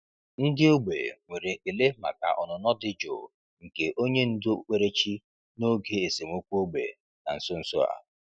Ndị ógbè nwere ekele maka ọnụnọ dị jụụ nke onye ndú okpukperechi n’oge esemokwu ógbè na nso nso a.